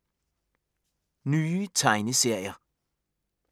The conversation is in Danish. Nye tegneserier